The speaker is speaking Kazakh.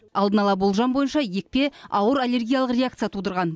алдын ала болжам бойынша екпе ауыр аллергиялық реакция тудырған